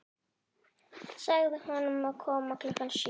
Segðu honum að koma klukkan sjö.